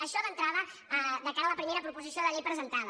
això d’entrada de cara a la primera proposició de llei presentada